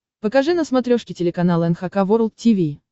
покажи на смотрешке телеканал эн эйч кей волд ти ви